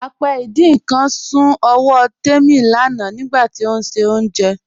Apẹ́ ìdin nkan sún ọwọ́ Tẹ́mi lánà nigbàtí ó n ṣe ọ̀unjẹ́.